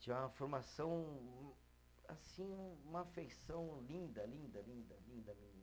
Tinha uma formação, assim, um uma feição linda, linda, linda, linda menina.